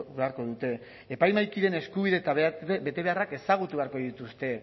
beharko dute epaimahaikideen eskubide eta betebeharrak ezagutu beharko dituzte